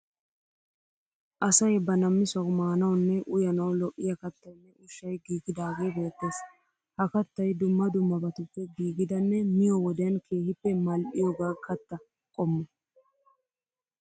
Asay ba namisawu maanawunne uyanawu lo'iya kattayinne ushshay giigidagee beettees. Ha kattay dumma dummabatuppe giigidanne miyo wodiyan keehippe mal'iyoga katta qommo.